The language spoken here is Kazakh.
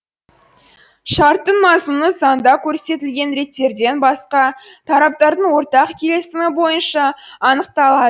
шарттың мазмұны заңда көрсетілген реттерден басқа тараптардың ортақ келісімі бойынша анықталады